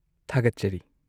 ꯊꯥꯒꯠꯆꯔꯤ꯫